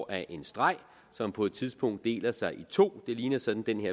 af en streg som på et tidspunkt deler sig i to det ligner sådan den